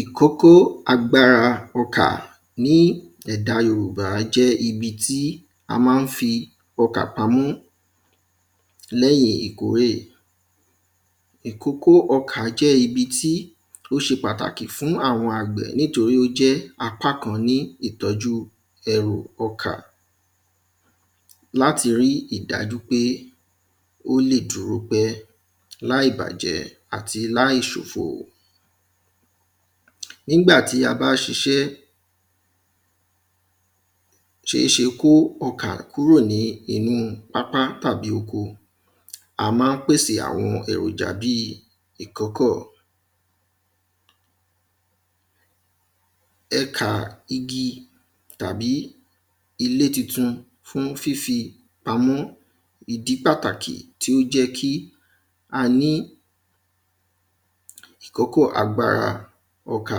Ìkókó agbára ọkà ní ẹ̀dá yorùbá jẹ́ ibi tí a má ń fi ọkà pamọ́ lẹ́yìn ìkórè. Ìkókó ọkà jẹ́ ibi tí ó ṣe pàtàkì fún àwọn àgbẹ̀ nítorí ó jẹ́ apá kan nínú ìtọ́jú ọkà láti rí ìdájú pé ó lè dúró pẹ́ láì bàjẹ́ àti láì ṣòfò. Nígbàtí a bá ṣiṣẹ́ ṣéṣe kó ọkà kúrò nínú pápá tàbí oko a má ń pèsè àwọn èròjà bí ìkọ́kọ̀ ẹkà igi tàbí ilé titun fún fífi ilé pamọ́ ìdí pàtàkì tí ó jẹ́ kí a ní ìkọ́kọ̀ agbára ọkà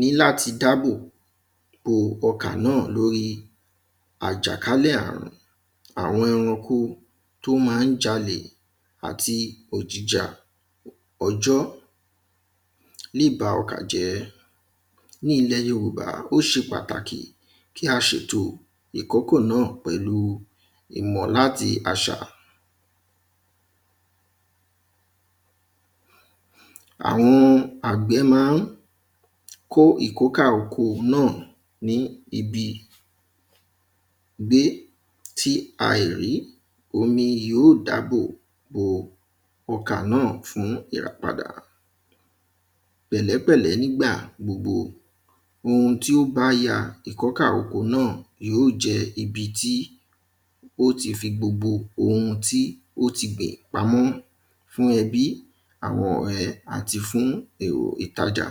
ní láti dábò bo ọkà náà lórí àjàkálẹ̀ àrùn àwọn ẹranko tó má ń jalè àti òjìjà ọjọ́ lè ba ọkà jẹ́. Ní ilẹ̀ yorùbá ó ṣe pàtàkì kí a ṣètò ìkókò náà pẹ̀lú ìmọ̀ láti àṣà. àwọn àgbẹ̀ má ń kó ìkókà oko náà ní ibi gbé tí aìrí omi yóò dábò bo ọkà náà fún ìràpadà pẹ̀lẹ́ pẹ̀lẹ́ nígbà gbogbo ohun tí ó bá ya ìkọ́kà oko náà yó jẹ́ ibi tí ó ti fi gbogbo ohun tó ti gbìn pamọ́ fún ẹbí àwọn ẹ̀ àti fún èrò ìtajà.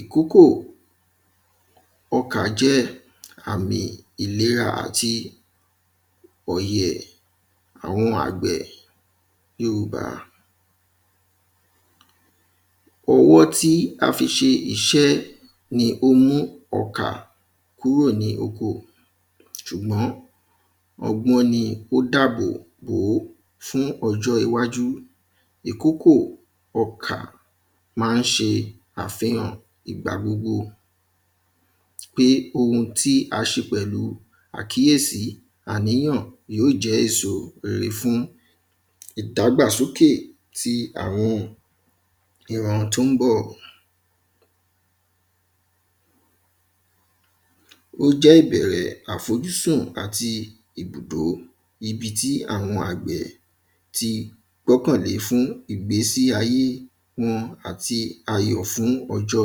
Ìkókò ọkà jẹ́ àmì ìlera àti ọ̀yẹ̀ àwọn àgbẹ̀ yorùbá. Owó tí a fi ṣe iṣẹ́ ni ó mú ọkà kúrò ní oko ṣùgbọ́n ọgbọ́n ni ó dábò bó fún ọjọ́ iwájú ìkókò ọkà má ń ṣe àfihã̀ ìgbà gbogbo pé ohun tí a ṣe pẹ̀lú àkíyèsí àníyàn yóò jẹ́ èso rere fún ìdãgbàsókè ti àwọn ìran tó ḿbọ̀. Ó jẹ́ ìbẹ̀rẹ̀ àfojúsùn àti ibùdó ibi tí àwọn àgbẹ̀ ti gbọ́kànlé fún àwọn ìgbésí ayé okun àti ayọ̀ fún ọjọ́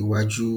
iwájú.